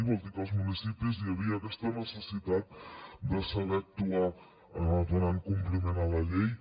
vol dir que als municipis hi havia aquesta necessitat de saber actuar donant compliment a la llei